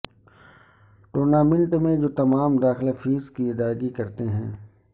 tournament جو تمام داخلہ فیس کی ادائیگی کرتے ہیں